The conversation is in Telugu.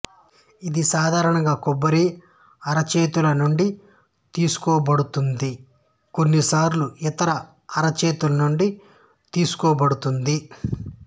ఇది సాధారణంగా కొబ్బరి అరచేతుల నుండి తీసుకోబడుతుంది కానీ కొన్నిసార్లు ఇతర అరచేతుల నుండి తీసుకోబడుతుంది